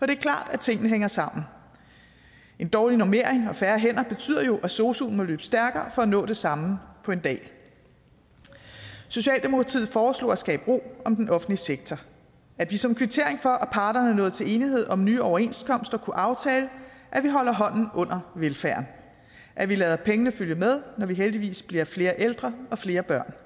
det er klart at tingene hænger sammen en dårlig normering og færre hænder betyder jo at sosuen må løbe stærkere for at nå det samme på en dag socialdemokratiet foreslog at skabe ro om den offentlige sektor at vi som kvittering for at parterne nåede til enighed om nye overenskomster kunne aftale at vi holder hånden under velfærden at vi lader pengene følge med når vi heldigvis bliver flere ældre og flere børn